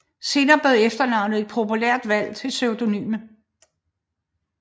Senere blev efternavnet et populært valg til pseudonym